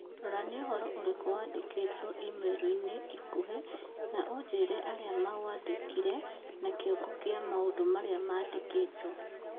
Rora nĩũhoro ũrĩkũ wandĩkĩtwo i-mīrū ĩnĩ ikuhĩ na ũnjĩĩre arĩa maũandĩkĩire na kĩongo kĩa maũndũ marĩa mandĩkĩtwo.